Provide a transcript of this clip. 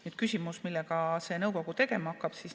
Küsimus selle kohta, millega see nõukogu tegelema hakkab.